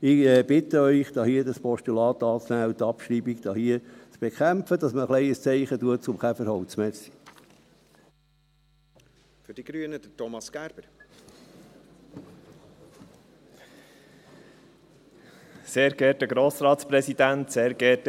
Ich bitte Sie, dieses Postulat anzunehmen und die Abschreibung zu bekämpfen, damit man ein wenig ein Zeichen für das Käferholz setzt.